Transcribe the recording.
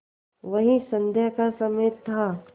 वही संध्या का समय था